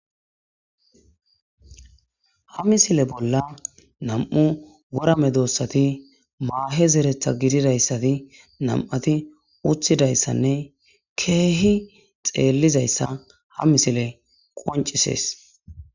Ha misile bolla nam'u worame doossati maahe zeretha gididayssati nam'ati uthidayssanne keehi xeellizayssa ha misile qoncisees.